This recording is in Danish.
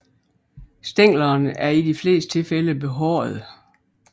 Stænglerne er i de fleste tilfælde behårede